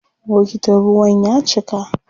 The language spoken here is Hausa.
Bokitin ruwan ya cika.